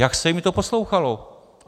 Jak se jim to poslouchalo?